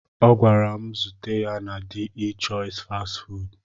Ọ gwara m ka m zute ya na de chois fastị fụụdụ.